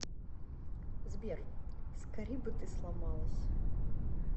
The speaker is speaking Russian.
сбер скорей бы ты сломалась